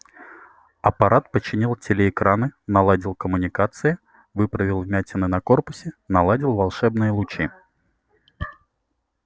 апорат починил телеэкраны наладил коммуникации выправил вмятины на корпусе наладил волшебные лучи